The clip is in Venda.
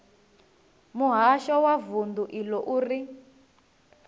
muhasho wa vundu iḽo uri